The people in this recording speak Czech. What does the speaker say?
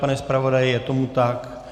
Pane zpravodaji, je tomu tak?